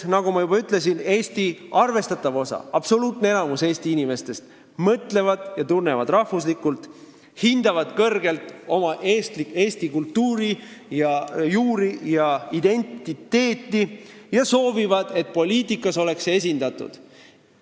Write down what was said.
Nagu ma juba ütlesin, arvestatav osa, absoluutne enamus Eesti inimestest mõtlevad ja tunnevad rahvuslikult, nad hindavad kõrgelt eesti kultuuri, juuri ja identiteeti ning soovivad, et see oleks poliitikas esindatud.